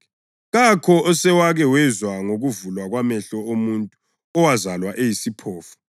Kakho osewake wezwa ngokuvulwa kwamehlo omuntu owazalwa eyisiphofu.